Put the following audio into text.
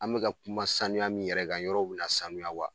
An mɛ ka kuma sanuya min yɛrɛ kan, yɔrɔ bina sanuya wa ?